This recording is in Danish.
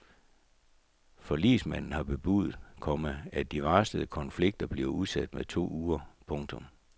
Forligsmanden har bebudet, komma at de varslede konflikter bliver udsat med to uger. punktum